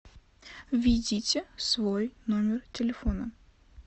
введите свой номер телефона